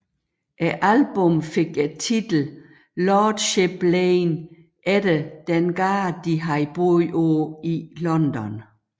Albummet fik titlen Lordship Lane efter den gade de havde boet på i London